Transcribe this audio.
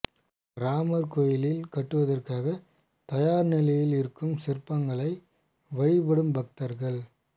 ராமர் கோயில் கட்டுவதற்காகத் தயார் நிலையில் இருக்கும் சிற்பங்களை வழிபடும் பக்தர்கள்